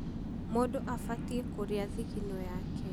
Mũndũ abatiĩ kũrĩa thigino yaake.